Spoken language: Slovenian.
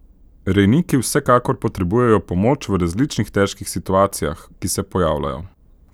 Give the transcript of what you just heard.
Rejniki vsekakor potrebujejo pomoč v različnih težkih situacijah, ki se pojavljajo.